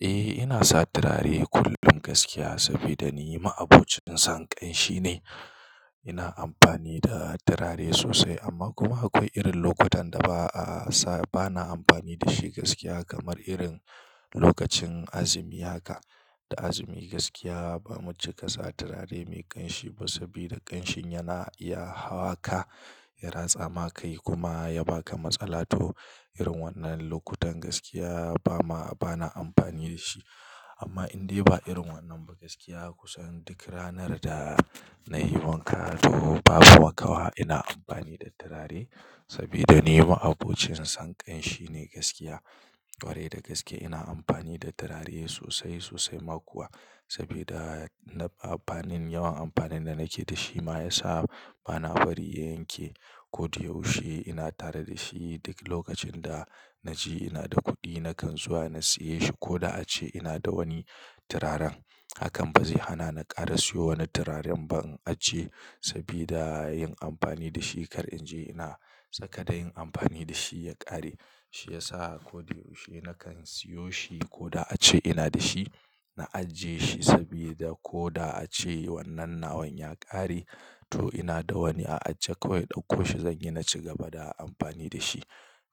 Eh, ina sa turare kullum gaskiya saboda ni ma'abocin son ƙanshi ne. Ina amfani da turare sosai amma kuma akwai irin lokutan da ba a sa-- bana amfani da shi gaskiya kamar irin lokacin azumi haka. Da azumi gaskiya ba mu cika sa turare mai ƙanshi ba saboda ƙanshin yana iya hawa ka, ya ratsa ma kai kuma ya ba ka matsala. To, irin wannan lokutan gaskiya ba ma-- bana amfani da shi. Amma in dai ba irin wannan ba gaskiya kusan duk ranar da na yi wanka to babu makawa ina amfani da turare saboda ni maabocin son ƙanshi ne gaskiya. Kwarai da gaske ina amfani da turare sosai sosai ma kuwa sabida amfanin yawan amfanin da nake da shi ma ya sa bana bari ya yanke. Ko da yaushe ina tare da shi duk lokacin da na ji ina da kuɗi nakan zuwa na siye shi ko da ace ina da wani turaren hakan ba zai hana na ƙara siyo wani turaren ba in ajiye sabida yin amfani da shi kar in je ina tsaka da yin amfani da shi ya ƙare. Shi ya sa ko da yaushe nakan siyo shi ko da ace ina da shi na ajiye shi sabida ko da ace wannan nawan ya ƙare to ina da wani a ajiye kawai ɗauko shi zan yi na ci gaba da amfani da shi.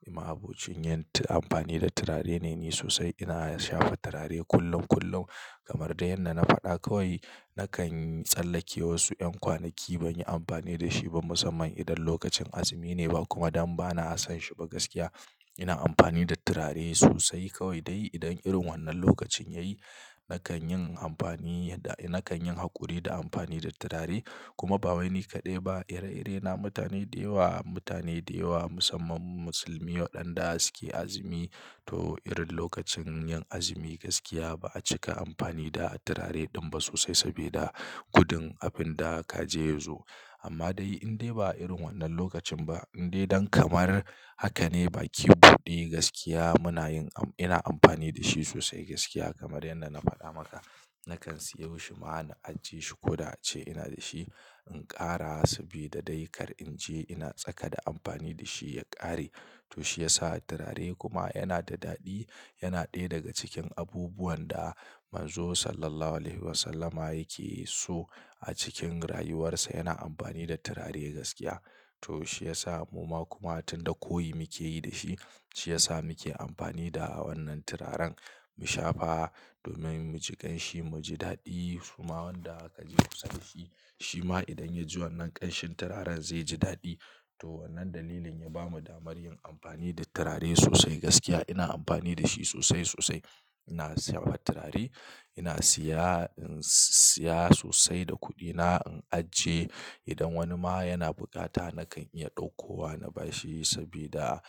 Nu ma abokcin yin amfani da turare ne ni sosai ina shafa turare kullum kullum kamar dai yadda na faɗa kawai nakan tsallake wasu 'yan kwanaki ban yi amfani da shi ba musamman idan lokacin azumi ne ba kuma dan bana son shi ba gaskiya. Ina amfani da turare sosai kawai dai idan irin wannan lokacin yayi nakan yin amfani da-- nakan yin haƙuri da amfani da turare kuma ba wai ni kaɗai ba, ire-ire na mutane da yawa, mutane da yawa musamman musulmi waɗanda suke azumi. To, irin lokacin yin azumi gaskiya ba a cika amfani da turare ɗin ba sosai sabida gudun abun da ka je yazo. Amma dai in dai ba irin wannan lokacin ba in dai don kamar haka ne baki bude gaskiya muna yin am-- ina amfani da shi sosai gaskiya kamar yadda na faɗa maka nakan siyo shi ma na ajiye shi ko da ace ina da shi in ƙara saboda dai kar in je ina tsaka da amfani da shi ya ƙare. To shi ya sa turare kuma yana da daɗi, yana ɗaya daga cikin abubuwan da Manzo Sallallahu Alaihi Wasallama yake so a cikin rayuwarsa yana amfani da turare gaskiya. To shi ya sa mu ma kuma tun da koyi muke yi da shi, shi ya sa muke amfani da wannan turaren mu shafa domin mu ji ƙanshi, mu ji daɗi. Kuma wanda aka ji sosai shi, shi ma idan ya ji wannan ƙanshin turaren zai ji daɗi. To wannan dalilin ya ba mu damar yin amfani da turare sosai gaskiya ina amfani da shi sosai sosai. Ina shafa turare, ina siya, siya sosai da kuɗina, in ajiye. Idan wani ma yana bukata nakan iya ɗaukowa na ba shi saboda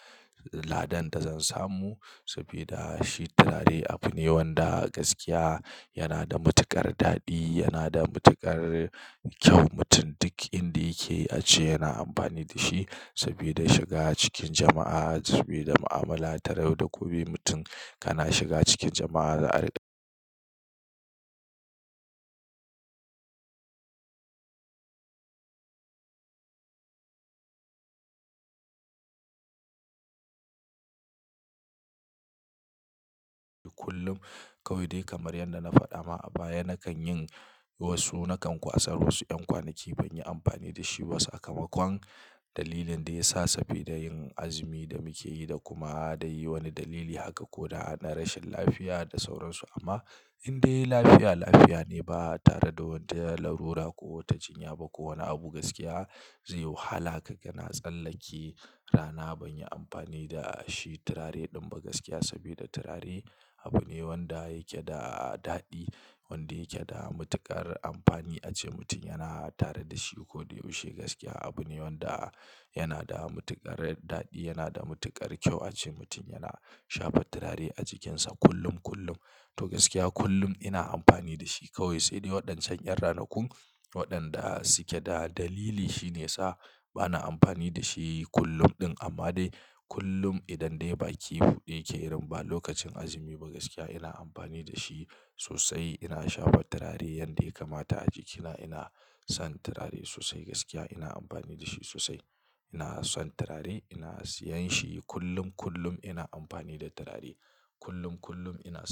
ladan da zan samu saboda shi turare abu ne wanda gaskiya yana da matuƙar daɗi, yana da matuƙar kyau. Mutum duk inda yake a ce yana amfani da shi sabida shiga cikin jama'a sabida mu'amala tare da kowane mutum kana shiga cikin jama'a za'a kullum kawai dai kamar yadda na faɗa ma a baya nakan yin wasu nakan kwasa wasu 'yan kwanaki ban yi amfani da shi ba sakamakon dalilin da ya sa saboda yin azumi da muke yi da kuma dai wani dalili haka ko da na rashin lafiya da sauransu amma in dai lafiya lafiya ne ba tare da wata larura ko wata jinya ba ko wani abu gaskiya zai yi wahala haka kana tsallake rana ban yi amfani da shi turare ɗin ba gaskiya sabida turare abu ne wanda yake da daɗi wanda yake da matuƙar amfani a ce mutum yana tare da shi ko da yaushe gaskiya. Abu ne wanda yana da matuƙar daɗi, yana da matuƙar kyau a ce mutum ya shafa turare a jikinsa kullum kullum. To gaskiya kullum ina amfani da shi kawai sai dai waɗancan 'yan ranakun waɗanda suke da dalili shine yasa bana amfani da shi kullum ɗin amma dai kullum idan dai baki bude yake irin ba lokacin azumi ba gaskiya ina amfani da shi sosai. Ina shafa turare yadda ya kamata a jikina ina son turare sosai gaskiya ina amfani da shi sosai. Ina son turare ina siyan shi kullum kullum ina amfani da turare kullum kullum ina.